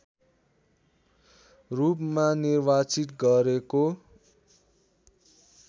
रूपमा निर्वाचित गरेको